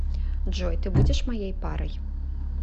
джой ты будешь моей парой